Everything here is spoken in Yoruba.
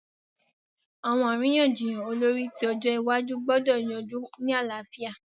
Àwọn àríyànjiyàn olórí ti ọjọ́ iwájú gbọ́dọ̀ yanjú ní àlàáfíà.